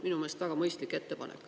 Minu meelest on see väga mõistlik ettepanek.